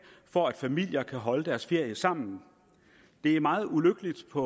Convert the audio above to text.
for at familier kan holde deres ferie sammen det er meget ulykkeligt for